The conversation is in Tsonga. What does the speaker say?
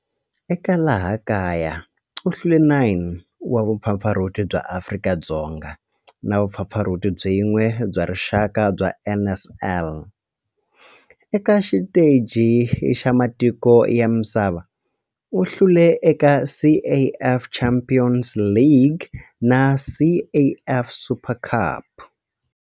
Eka laha kaya u hlule 9 wa vumpfampfarhuti bya Afrika-Dzonga na vumpfampfarhuti byin'we bya rixaka bya NSL. Eka xiteji xa matiko ya misava, u hlule eka CAF Champions League na CAF Super Cup.